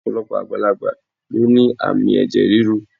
Ọ̀pọ̀lọpọ̀ àgbàlagbà ló ní àmì ẹ̀jẹ̀ ríru